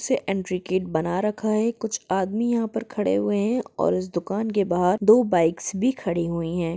Entry gate बना रखा है कुछ आदमी यहा पे खड़े हुए है और इस दुकान के बहार दो बाइक्स भी खड़ी हुई है।